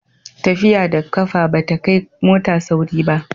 tafiya da ƙafa ba ta kai mota sauri ba